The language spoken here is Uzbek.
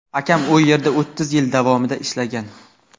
Akam u yerda o‘ttiz yil davomida ishlagan.